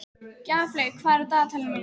Gjaflaug, hvað er á dagatalinu mínu í dag?